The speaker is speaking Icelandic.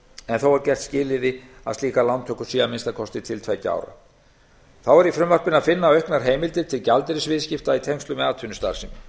en þó er gert að skilyrði að slíkar lántökur séu til að minnsta kosti tveggja ára þá er í frumvarpinu að finna auknar heimildir til gjaldeyrisviðskipta í tengslum við atvinnustarfsemi